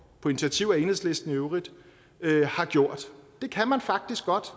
på initiativ af enhedslisten i øvrigt har gjort det kan man faktisk godt